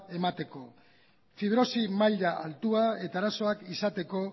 emateko fibrosi maila altua eta arazoak izateko